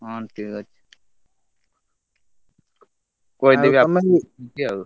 ହଁ ଠିକ ଅଛି କହିଦେବି ଆଉ।